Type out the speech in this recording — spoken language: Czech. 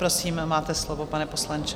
Prosím, máte slovo, pane poslanče.